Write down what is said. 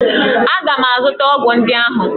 Aga m azụta ọgwụ ndị ahụ!